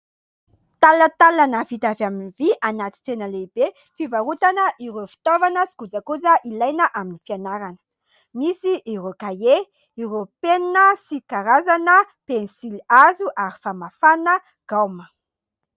Talantalana vita avy amin'ny vy anaty tsena lehibe fivarotana ireo fitaovana sy kojakoja ilaina amin'ny fianarana. Misy ireo kahie, ireo penina sy karazana penisilihazo ary famafana gaoma.